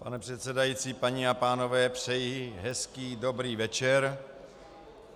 Pane předsedající, paní a pánové, přeji hezký dobrý večer.